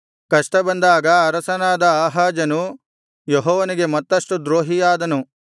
ಕಷ್ಟ ಬಂದಾಗ ಅರಸನಾದ ಆಹಾಜನು ಯೆಹೋವನಿಗೆ ಮತ್ತಷ್ಟು ದ್ರೋಹಿಯಾದನು